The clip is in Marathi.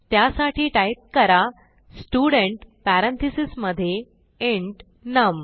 त्यासाठी टाईप करा स्टुडेंट parenthesesमधे इंट नम